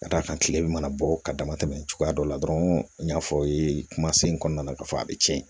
Ka d'a kan kile bɛ mana bɔ ka dama tɛmɛ cogoya dɔ la dɔrɔn n y'a fɔ aw ye kumasen in kɔnɔna na k'a fɔ a bɛ tiɲɛ